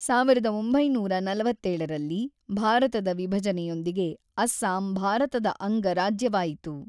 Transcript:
ಸಾವಿರದ ಒಂಬೈನೂರ ನಲವತ್ತೇಳರಲ್ಲಿ ಭಾರತದ ವಿಭಜನೆಯೊಂದಿಗೆ ಅಸ್ಸಾಂ ಭಾರತದ ಅಂಗ ರಾಜ್ಯವಾಯಿತು.